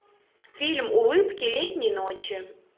фильм улыбки летней ночи